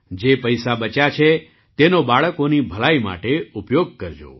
જે પૈસા બચ્યા છે તેનો બાળકોની ભલાઈ માટે ઉપયોગ કરજો